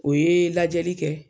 O ye lajɛli kɛ